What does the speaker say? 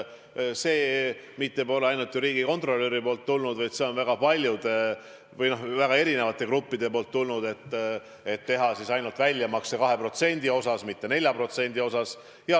See mitte pole ainult riigikontrolöri ettepanek, vaid see on väga paljude või, noh, väga erinevate gruppide esitatud mõte, et teha väljamakse ainult 2% ulatuses, mitte ka 4% ulatuses.